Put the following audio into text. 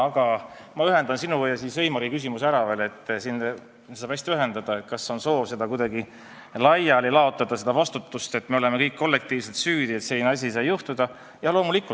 Aga ma ühendan sinu ja Heimari küsimuse, neid saab hästi ühendada: kas on soov kuidagi laiali laotada seda vastutust, et me oleme kõik kollektiivselt süüdi, et selline asi sai juhtuda?